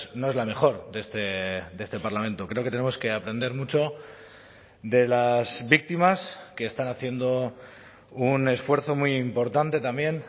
no es la mejor de este parlamento creo que tenemos que aprender mucho de las víctimas que están haciendo un esfuerzo muy importante también